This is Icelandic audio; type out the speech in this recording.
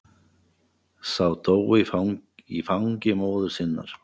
Sá dó í fangi móður sinnar.